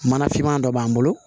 Mana finman dɔ b'an bolo